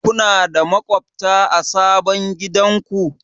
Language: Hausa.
Kuna da maƙwabta a sabon gidanku?